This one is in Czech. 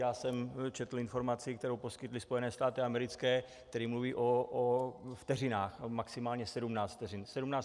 Já jsem četl informaci, kterou poskytly Spojené státy americké, které mluví o vteřinách, maximálně 17 vteřin.